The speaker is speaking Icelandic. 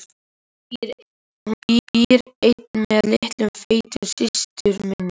Hún býr ein með litlu feitu systur minni.